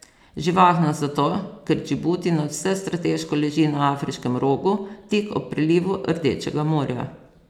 Živahno zato, ker Džibuti nadvse strateško leži na afriškem rogu, tik ob prelivu Rdečega morja.